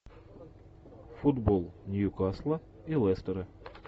футбол ньюкасла и лестера